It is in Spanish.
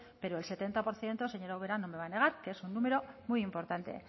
pero el setenta por ciento señora ubera no me va a negar que es un número muy importante